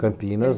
Campinas.